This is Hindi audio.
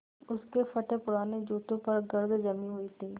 उसके फटेपुराने जूतों पर गर्द जमी हुई थी